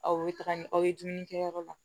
Aw bɛ taga ni aw ye dumuni kɛ yɔrɔ la